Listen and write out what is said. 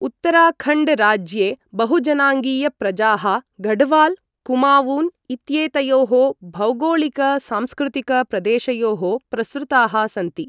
उत्तराखण्ड् राज्ये बहुजनाङ्गीय प्रजाः गढ्वाल् कुमावून् इत्येतयोः भौगोळिक सांस्कृतिक प्रदेशयोः प्रसृताः सन्ति।